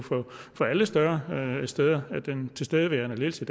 på alle større steder at den tilstedeværende ledelse